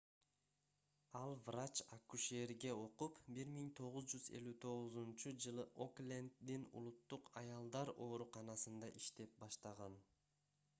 ал врач-акушерге окуп 1959-жылы окленддин улуттук аялдар ооруканасында иштеп баштаган